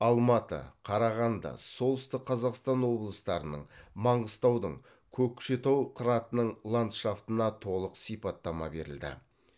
алматы қарағанды солтүстік қазақстан облыстарының маңғыстаудың көкшетау қыратының ландшафтына толық сипаттама берілді